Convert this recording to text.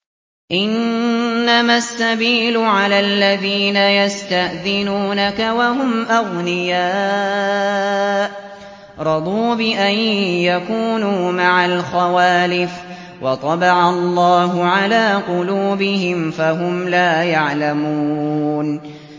۞ إِنَّمَا السَّبِيلُ عَلَى الَّذِينَ يَسْتَأْذِنُونَكَ وَهُمْ أَغْنِيَاءُ ۚ رَضُوا بِأَن يَكُونُوا مَعَ الْخَوَالِفِ وَطَبَعَ اللَّهُ عَلَىٰ قُلُوبِهِمْ فَهُمْ لَا يَعْلَمُونَ